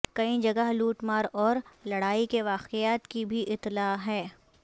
کئی جگہ لوٹ مار اور لڑائی کے واقعات کی بھی اطلاع ہے